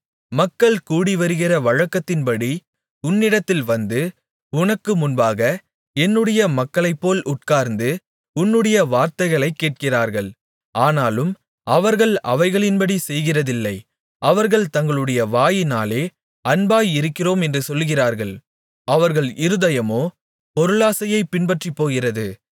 மக்கள் கூடிவருகிற வழக்கத்தின்படி உன்னிடத்தில் வந்து உனக்கு முன்பாக என்னுடைய மக்களைப்போல் உட்கார்ந்து உன்னுடைய வார்த்தைகளைக் கேட்கிறார்கள் ஆனாலும் அவர்கள் அவைகளின்படி செய்கிறதில்லை அவர்கள் தங்களுடைய வாயினாலே அன்பாய் இருக்கிறோம் என்று சொல்கிறார்கள் அவர்கள் இருதயமோ பொருளாசையைப் பின்பற்றிப்போகிறது